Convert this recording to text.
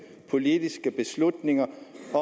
politiske beslutninger